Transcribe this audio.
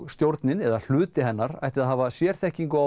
stjórnin eða hluti hennar ætti að hafa sérþekkingu á